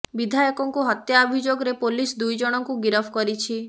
ବିଧାୟକଙ୍କୁ ହତ୍ୟା ଅଭିଯୋଗରେ ପୋଲିସ ଦୁଇ ଜଣଙ୍କୁ ଗିରଫ କରିଛି